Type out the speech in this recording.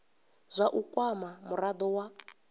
zwa u kwama murado wa